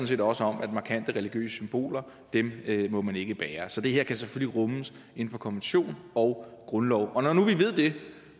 set også om at markante religiøse symboler må man ikke bære så det her kan selvfølgelig rummes inden for konvention og grundlov og når nu vi ved det